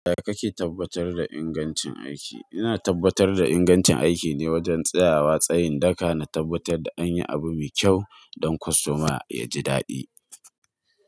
Yaya kake tabbatar da ingancin aiki? Ina tabbatar da ingancin aiki ne wajen tsayawa tsayin daka na tabbatar da an yi abu mai kyau don kostoma ya ji daɗi.